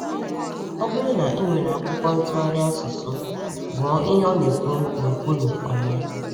Ọ bụrụ na ị nwere akwụkwọ ntụgharị asụsụ, gụọ ihe ọ na-ekwu n’okpuru “ọma.”